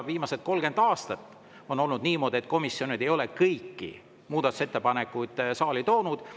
Viimased 30 aastat on olnud niimoodi, et komisjonid ei ole kõiki muudatusettepanekuid saali toonud.